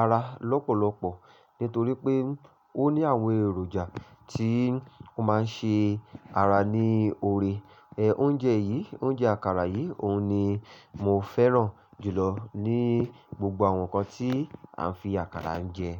ara lọ́pọ̀lọpọ̀ nítorí pé ó ní àwọn èròjà tí ó máa ń ṣe ara ní ore. Ẹ̀ Oúnjẹ yìí, oúnjẹ àkàrà yìí òun ni mo fẹ́ràn jù lọ ní gbogbo àwọn nǹkan tí à ń fi àkàrà jẹ.